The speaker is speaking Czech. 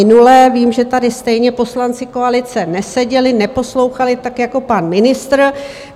Vím, že tady stejně poslanci koalice neseděli, neposlouchali, tak jako pan ministr.